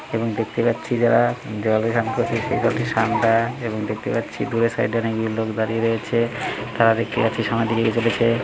এবং দেখতে পাচ্ছি যারা জলে স্নান করছে ঠান্ডা-আ এবং দেখতে পাচ্ছি দূরে সাইড এ নাকি লোক দাঁড়িয়ে রয়েছে। তারা দেখতে পাচ্ছি সামনের দিকে এগিয়ে চলেছে।